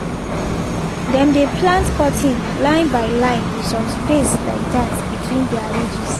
dem dey plant cotton line by line with some space like dat between their ridges